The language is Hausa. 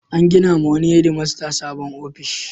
An gina wa wani hedmasta sabon ofishi.